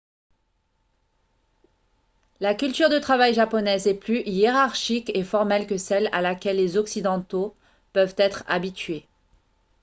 la culture de travail japonaise est plus hiérarchique et formelle que celle à laquelle les occidentaux peuvent être habitués